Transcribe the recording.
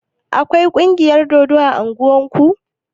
Akwai kungiyar dodo a ƙauyen ku?